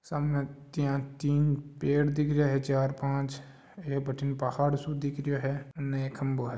सामे तीन पेड़ दिख रा है चार पांच एक बाथिन पहाड़ दिख रो है उन खंभों है।